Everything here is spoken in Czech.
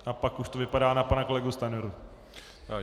A pak už to vypadá na pana kolegu Stanjuru.